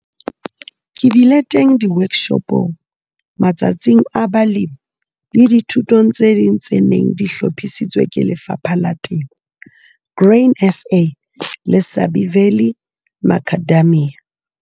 Ke bile teng di-workshopong, Matsatsing a Balemi le dithutong tse ding tse neng di hlophisitswe ke Lefapha la Temo, Grain SA le Sabie Valley Macadamia.